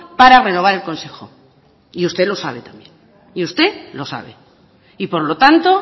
para renovar el consejo y usted lo sabe también y usted lo sabe y por lo tanto